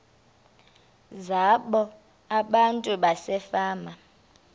zabo abantu basefama